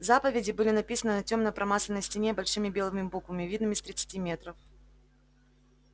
заповеди были написаны на тёмной промасленной стене большими белыми буквами видными с тридцати метров